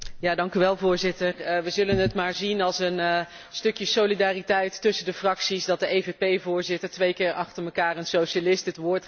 Voorzitter, we zullen het maar zien als een stukje solidariteit tussen de fracties dat de EVP voorzitter twee keer achter elkaar een socialist het woord geeft.